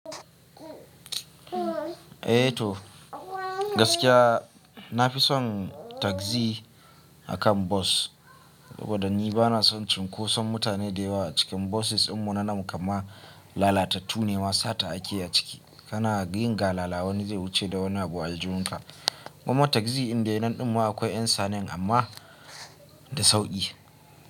Eh to gaskiya na fi son tasi akan bos. Saboda ni ba na son cunkoson mutane da yawa a cikin bosis in munanan mu kamar lalatattu nema sata a keyi a ciki. Kana yin galala wani zai wuce da wani abu a aljihun ka. Kuma tasi indai nanɗin ma akwai yan sane amma da sauƙi.